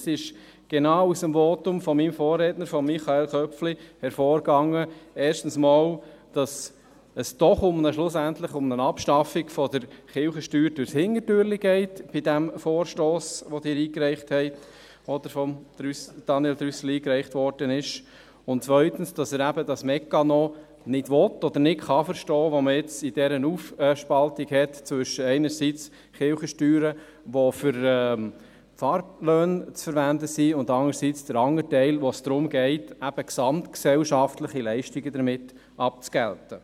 Genau aus dem Votum meines Vorredners, Michael Köpfli, ging hervor, dass es erstens bei diesem Vorstoss, den Daniel Trüssel einreichte, doch schlussendlich um eine Abschaffung der Kirchensteuer durchs Hintertürchen geht, und zweitens, dass er den Mechanismus nicht verstehen kann oder will, den man bei dieser Aufspaltung gewählt hat zwischen den Kirchensteuern, die für Pfarrlöhne zu verwenden sind, und dem anderen Teil, bei dem es darum geht, gesamtgesellschaftliche Leistungen abzugelten.